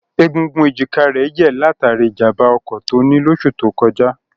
Egungun èjìká rẹ̀ yẹ̀ látàrí ìjàmbá ọkọ̀ tó ní lóṣù tó kọjá.